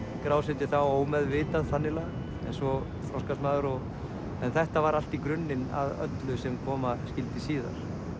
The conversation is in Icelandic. skrásetja þá ómeðvitað þannig lagað en svo þroskast maður en þetta var allt grunnurinn að öllu sem koma skyldi síðar